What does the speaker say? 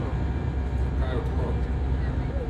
Zakaj odhod?